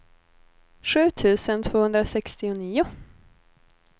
sju tusen tvåhundrasextionio